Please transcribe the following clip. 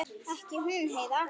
Ekki hún Heiða.